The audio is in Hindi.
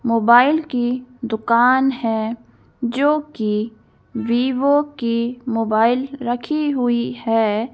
मोबाइल की दुकान है जो कि विवो की मोबाइल रखी हुई है।